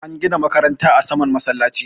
an gina makaranta a saman masallaci